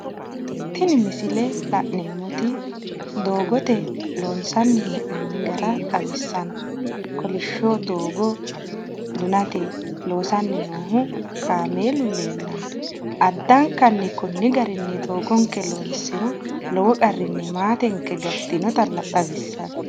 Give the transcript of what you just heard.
Tini misile la'neemmoti doogote loonsanni hee'noonni gara xawissanno, koliishsho doogo dunate kaameelu leellanno, addanka konni garinni doogonke loonsiro lowo qarrinni maatenke gattinota xawissanno.